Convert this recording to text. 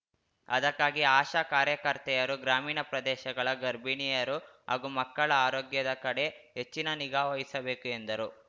ಅದಕ್ಕಾಗಿ ಆಶಾ ಕಾರ್ಯಕರ್ತೆಯರು ಗ್ರಾಮೀಣ ಪ್ರದೇಶಗಳ ಗರ್ಭಿಣಿಯರು ಹಾಗೂ ಮಕ್ಕಳ ಆರೋಗ್ಯದ ಕಡೆ ಹೆಚ್ಚಿನ ನಿಗಾವಹಿಸಬೇಕು ಎಂದರು